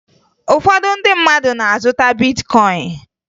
Ụfọdụ ndị mmadụ na-azụta bitkọyịn